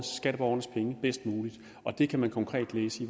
skatteborgernes penge bedst muligt og det kan man konkret læse